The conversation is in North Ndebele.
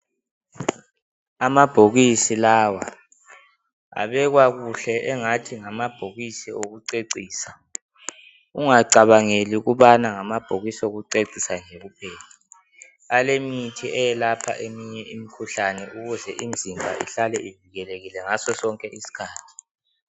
Amabhokisi lawa abekwa kuhle engathi ngamabhokisi okucecisa, ungacabangeli ukubana ngamabhokisi okucecisa nje kuphela alemithi ayelapha eminye imikhuhlane ukuze imizimba ihlale ivikelelekile ngaso sonke isikhathi.